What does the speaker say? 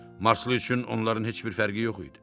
Marslı üçün onların heç bir fərqi yox idi.